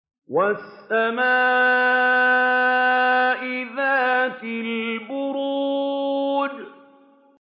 وَالسَّمَاءِ ذَاتِ الْبُرُوجِ